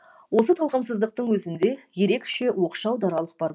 осы талғамсыздықтың өзінде ерекше оқшау даралық бар